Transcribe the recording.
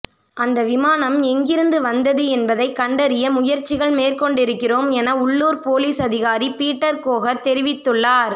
அந்த விமானம் எங்கிருந்து வந்தது என்பதை கண்டறிய முயற்சிகள் மேற்கொண்டிருக்கிறோம் என உள்ளுர் பொலிஸ் அதிகாரி பீட்டர் கோகர் தெரிவித்துள்ளார்